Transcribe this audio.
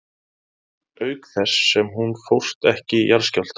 Auk þess sem hún fórst ekki í jarðskjálfta.